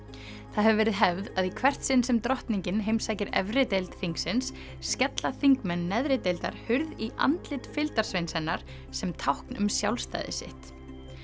það hefur verið hefð að í hvert sinn sem drottningin heimsækir efri deild þingsins skella þingmenn neðri deildar hurð í andlit fylgdarsveins hennar sem tákn um sjálfstæði sitt